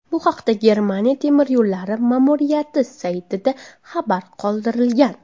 Bu haqda Germaniya temir yo‘llari ma’muriyati saytida xabar qoldirilgan .